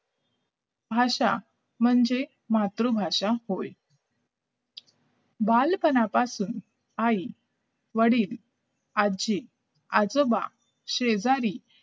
भाषा म्हणजे मातृभाषा होईल बालपणापासून आई वडील आजी आजोबा शेजारी